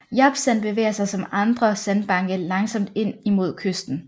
Japsand bevæger sig som andre sandbanke langsomt ind imod kysten